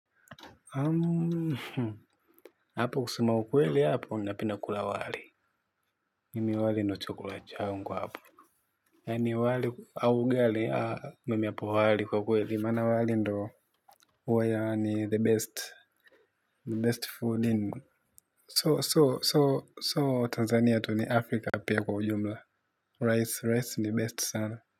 Hapo kusema ukweli hapo napenda kula wali mimi wali ndo chakula changu hapo yaani wali au ugali mimi hapo wali kwa ukweli maana wali ndo huwa yaani the best the best food in so so so so tanzania tu ni afrika pia kwa ujumla rice rice ni best sana.